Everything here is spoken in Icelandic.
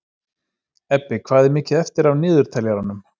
Ebbi, hvað er mikið eftir af niðurteljaranum?